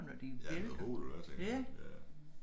Ja med hovedet eller hvad tænker du ja